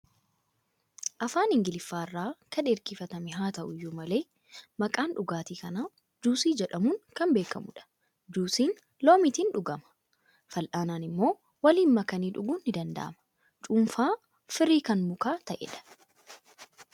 Afaan Ingiliffaa irraa kan ergifatame haa ta'u iyyuu malee, maqaan dhugaatii kanaa Juusii jedhamuun kan beekamudha. Juusiin loomiitiin dhugamaa. Fal'aanaan immoo waliin makanii dhuguun ni danda'ama. Cuunfaa firii kan mukaa ta'edha.